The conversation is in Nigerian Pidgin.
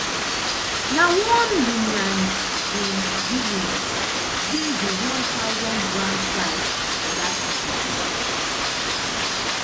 na one lillian jean william win di one thousand grand prize for dat competition